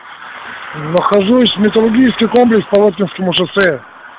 нахожусь металлургический комплекс хорошевском шоссе